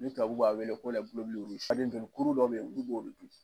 Ni tubabuw b'a wele ko joli kuru dɔw de be yen ji b'o de kɔnɔ.